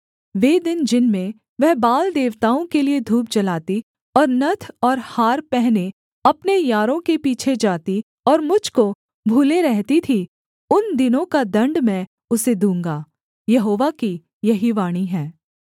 वे दिन जिनमें वह बाल देवताओं के लिये धूप जलाती और नत्थ और हार पहने अपने यारों के पीछे जाती और मुझ को भूले रहती थी उन दिनों का दण्ड मैं उसे दूँगा यहोवा की यही वाणी है